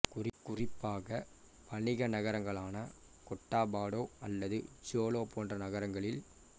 குறிப்பாக வணிக நகரங்களான கோட்டாபாடோ அல்லது ஜோலோ போன்ற நகரங்களில்